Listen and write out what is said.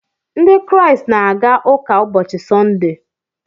Ndị Kraịst na-aga ụka ụbọchị Sọnde